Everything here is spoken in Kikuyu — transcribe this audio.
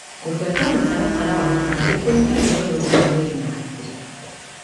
Kũfuata mũtaratara wa gũkoma nĩ kũnyihagia ũnogu wa mwĩri na hakiri.